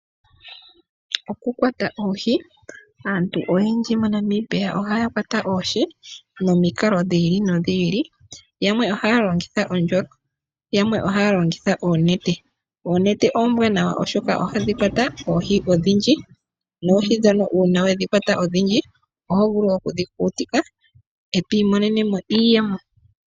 Okukwata oohi aantu oyendji moNamibia ohaya kwata oohi nomikalo dhiili nodhiili yamwe ohaalongitha ondjolo yamwe ohaalongitha oonete. Oonete oombwanawa oshoka ohadhikwata oohi odhindji noohi dhono uuna wedhikwata odhindji ohovulu okudhi kukutika etwiimonenemo iiyemo..